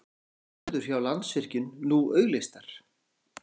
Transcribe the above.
Allar stöður hjá Landsvirkjun nú auglýstar